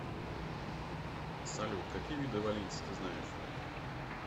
салют какие виды валлийцы ты знаешь